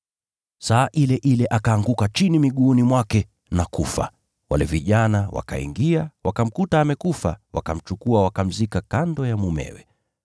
Saa ile ile akaanguka chini miguuni mwake na kufa. Nao wale vijana wakaingia, wakamkuta amekufa, wakamchukua wakamzika kando ya mumewe.